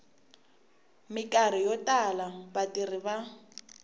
mikarhi yo tala vatirhi va